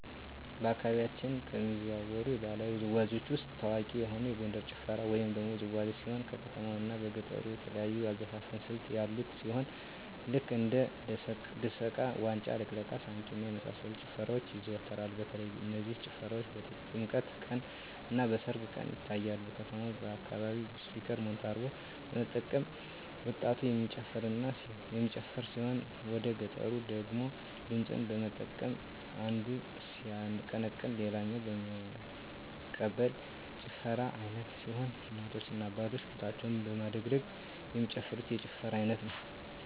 በአካባቢያችን ከሚዘወተሩ ባህለዊ ውዝዋዜዎች ውስጥ ታዋቂ የሆነ የጎንደር ጭፈራ ወይም ውዝዋዜ ሲሆን በከተማው እና በገጠሩ የተለያዩ የአዘፋፈን ስልቶች ያሉ ሲሆን ልክ እንደ ድሰቃ; ዋጫ ልቅለቃ; ሳንኪ እና የመሳሰሉት ጭፈራዎች ይዘዎተራሉ በተለይ እነዚህ ጭፈራዎች በጥምቀት ቀን; እና በሰርግ ቀን ይታያሉ። በከተማው አካባቢ ስፒከር (ሞንታርቦ) በመጠቀም ወጣቱ የሚጨፍር ሲሆን ወደገጠሩ ደግሞ ድምፅን በመጠቀም አንዱ ሲያቀነቅን ሌሎች በመቀበል የጭፈራ አይነት ሲሆን እናቶ እና አባቶች ኩታቸውን በማደግደግ የሚጨፍሩት የጭፈራ አይነት ነው።